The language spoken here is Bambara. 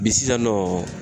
sisan nɔ